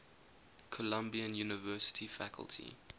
columbia university faculty